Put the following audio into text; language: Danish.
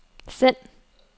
send